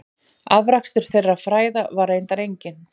Afrakstur þeirra fræða var reyndar enginn.